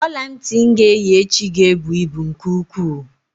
Ọlantị m ga-eyi echi ga-ebu ibu nke ukwuu.